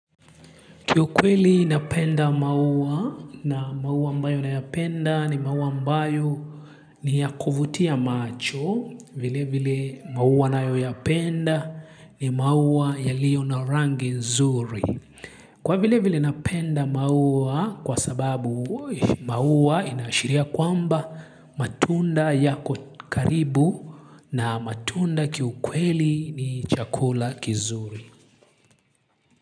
Kiukweli napenda maua na maua ambayo nayapenda ni maua ambayo ni yakuvutia macho vile vile maua ninayoyapenda ni maua yaliyo na rangi nzuri. Kwa vile vile napenda maua kwa sababu maua inaashiria kwamba matunda yako karibu na matunda kiukweli ni chakula kizuri.